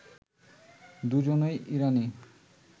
দুজনই ইরানি